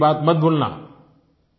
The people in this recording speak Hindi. मेरी पानी की बात मत भूलना